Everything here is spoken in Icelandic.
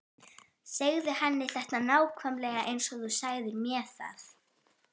Segðu henni þetta nákvæmlega eins og þú sagðir mér það.